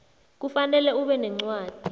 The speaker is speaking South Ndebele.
kufanele ube nencwadi